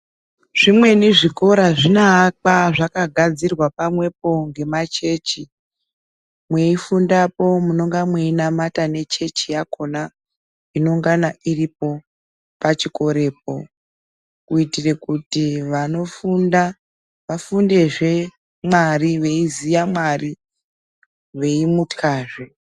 Zvimweni zvikora zvinoakwa zvakagadzirwa pamwepo ngemachechi. Mweifundapo munonga mweinamata ngechechi yakona inongana iripo pachikorepo. Kuitira kuti vanofunda vafundezve Mwari, veiziya Mwari, veimutyazve.